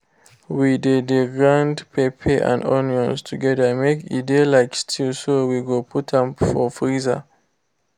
we de de grind pepper and onion together make e de like stew so we go put am for freezer.